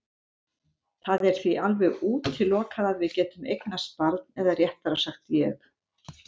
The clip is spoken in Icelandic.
Það er því alveg útilokað að við getum eignast barn eða réttara sagt ég.